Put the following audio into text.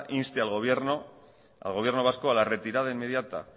inste al gobierno vasco a la retirada inmediata